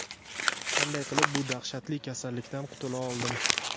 Qanday qilib bu dahshatli kasallikdan qutula oldim?.